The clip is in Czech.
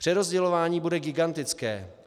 Přerozdělování bude gigantické.